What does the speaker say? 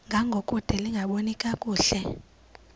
ngangokude lingaboni kakuhle